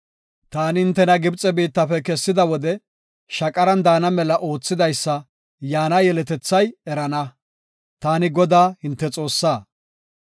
Taani hintena Gibxe biittafe kessida wode shaqaran daana mela oothidaysa yaana yeletethay erana. Taani Godaa hinte Xoossaa.